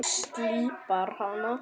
Slípar hana.